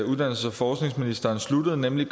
uddannelses og forskningsministeren sluttede nemlig